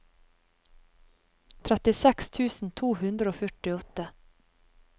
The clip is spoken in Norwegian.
trettiseks tusen to hundre og førtiåtte